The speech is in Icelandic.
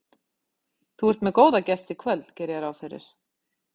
Þú ert með góða gesti í kvöld geri ég ráð fyrir?